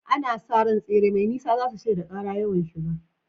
Ana sa ran tsere mai nisa za su shaida ƙara yawan shiga.